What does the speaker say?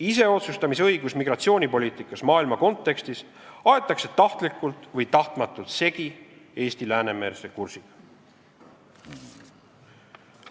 Iseotsustamisõigus migratsioonipoliitikas maailma kontekstis aetakse tahtlikult või tahtmatult segi Eesti läänemeelse kursiga.